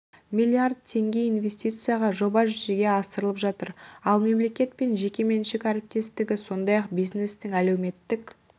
млрд теңге инвестицияға жоба жүзеге асырылып жатыр ал мемлекет пен жекеменшік әріптестігі сондай-ақ бизнестің әлеуметтік